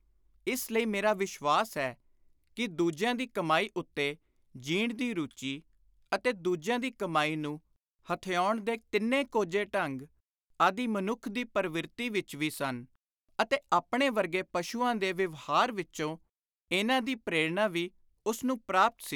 ਇਸ ਲਈ ਮੇਰਾ ਵਿਸ਼ਵਾਸ ਹੈ ਕਿ ਦੁਜਿਆਂ ਦੀ ਕਮਾਈ ਉੱਤੇ ਜੀਣ ਦੀ ਰੁਚੀ ਅਤੇ ਦੂਜਿਆਂ ਦੀ ਕਮਾਈ ਨੂੰ ਹਥਿਆਉਣ ਦੇ ਤਿੰਨੇ ਕੋਝੇ ਢੰਗ, ਆਦਿ ਮਨੁੱਖ ਦੀ ਪਰਵਿਰਤੀ ਵਿਚ ਵੀ ਸਨ ਅਤੇ ਆਪਣੇ ਵਰਗੇ ਪਸ਼ੂਆਂ ਦੇ ਵਿਵਹਾਰ ਵਿਚੋਂ ਇਨ੍ਹਾਂ ਦੀ ਪ੍ਰੇਰਣਾ ਵੀ ਉਸ ਨੂੰ ਪ੍ਰਾਪਤ ਸੀ।